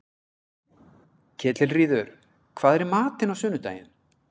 Ketilríður, hvað er í matinn á sunnudaginn?